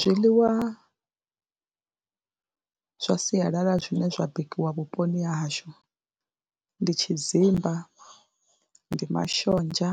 Zwiḽiwa zwa sialala zwine zwa bikiwa vhuponi ha hashu ndi tshidzimba, ndi mashonzha,